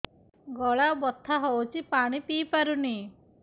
ଗଳା ବଥା ହଉଚି ପାଣି ବି ପିଇ ପାରୁନି